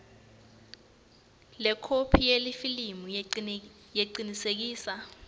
lekhophi yalelifomu lecinisekisa